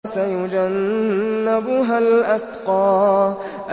وَسَيُجَنَّبُهَا الْأَتْقَى